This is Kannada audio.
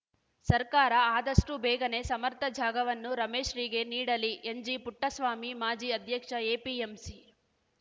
ಸರ್ಕಾರ ಆದಷ್ಟುಬೇಗನೆ ಸಮರ್ಥ ಜಾಗವನ್ನು ರಮೇಶ್‌ರಿಗೆ ನೀಡಲಿ ಎನ್‌ಜಿಪುಟ್ಟಸ್ವಾಮಿ ಮಾಜಿ ಅಧ್ಯಕ್ಷ ಎಪಿಎಂಸಿ